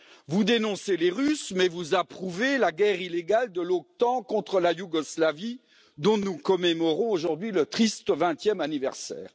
Vous dénoncez les Russes mais vous approuvez la guerre illégale de l'OTAN contre la Yougoslavie dont nous commémorons aujourd'hui le triste vingtième anniversaire.